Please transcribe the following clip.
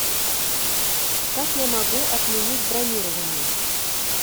как я могу отменить бронирование